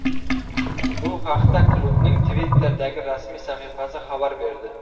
Bu haqda klubning Twitter’dagi rasmiy sahifasi xabar berdi .